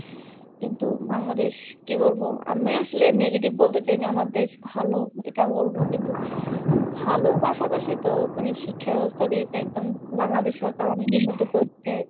কিন্তু বাংলাদেশ কি বলবো? আমি আসলে negative বলতে চাইনি, আমার দেশ ভালো এটা বলবো কিন্তু ভালোর পাশাপাশি তো মানে শিক্ষা ব্যবস্থা দিয়ে একদম বাংলাদেশ সরকার অনেক উন্নতি করেছে।